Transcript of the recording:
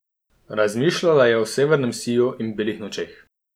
Razmišljala je o severnem siju in belih nočeh.